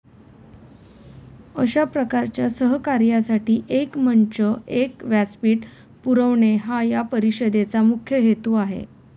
अशा प्रकारच्या सहकार्यासाठी एक मंच, एक व्यासपीठ पुरवणे हा या परिषदेचा मुख्य हेतू आहे.